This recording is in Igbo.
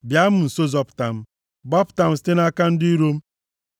Bịa m nso zọpụta m. Gbapụta m site nʼaka ndị iro m.